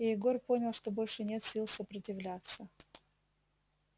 и егор понял что больше нет сил сопротивляться